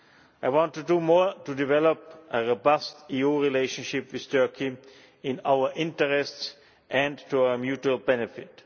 I want to do more to develop a robust EU relationship with Turkey in our interest and to our mutual benefit.